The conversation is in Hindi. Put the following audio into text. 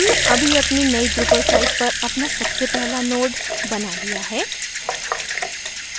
हमने अभी अपनी नयी drupal site पर अपना सबसे पहला node बना लिया है